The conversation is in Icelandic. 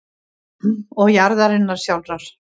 og jarðarinnar sjálfrar.